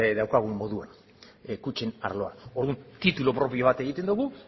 daukagun moduan kutxen arloan orduan titulu propio bat egiten dugu